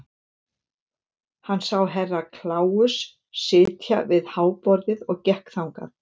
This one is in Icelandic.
Hann sá Herra Kláus sitja við háborðið og gekk þangað.